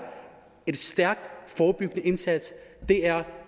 en stærk forebyggende indsats det er